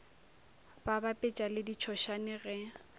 ba bapetša le ditšhošane ge